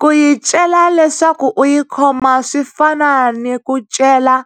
Ku yi cela leswaku u yi khoma swi fana ni ku cela